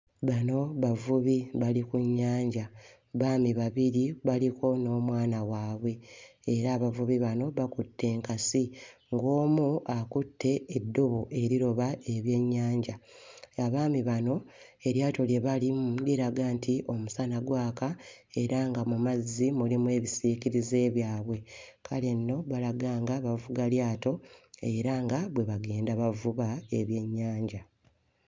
Bano bavubi bali ku nnyanja. Baami babiri baliko n'omwana waabwe. Era abavubi bano bakutte enkasi ng'omu akutte eddobo eriroba ebyennyanja. Abaami bano eryato lye balimu liraga nti omusana gwaka era nga mu mazzi mulimu ebisiikirize byabwe. Kale nno balaga nga bavuga lyato era nga bwe bagenda bavuba ebyennyanja.